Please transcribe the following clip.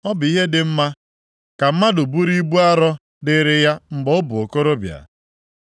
Ọ bụ ihe dị mma ka mmadụ buru ibu arọ dịrị ya mgbe ọ bụ okorobịa.